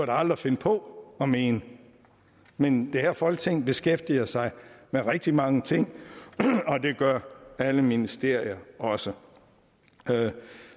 da aldrig finde på at mene men det her folketing beskæftiger sig med rigtig mange ting og det gør alle ministerier også